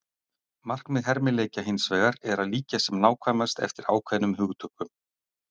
Markmið hermileikja hins vegar er að líkja sem nákvæmast eftir ákveðnum hugtökum.